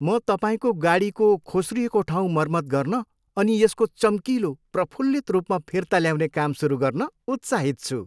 म तपाईँको गाडीको खोस्रिएको ठाउँ मर्मत गर्न अनि यसको चम्किलो, प्रफुल्लित रूपमा फिर्ता ल्याउने काम सुरु गर्न उत्साहित छु!